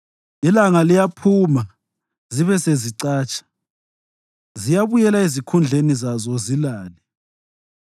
Ilanga liyaphuma, zibe sezicatsha; ziyabuyela ezikhundleni zazo zilale.